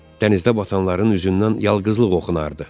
Dənizdə batanların üzündən yalqızlıq oxunardı.